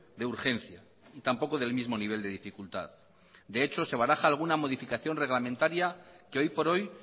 de urgencia y tampoco del mismo nivel de dificultad de hecho se baraja alguna modificación reglamentaria que hoy por hoy